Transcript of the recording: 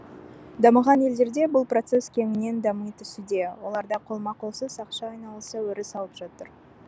дамыған елдерге бұл процесс кеңінен дами түсуде оларда қолма қолсыз ақша айналысы өріс алып жатыр